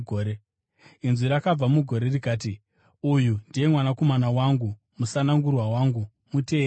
Inzwi rakabva mugore, rikati, “Uyu ndiye Mwanakomana wangu, musanangurwa wangu; muteererei.”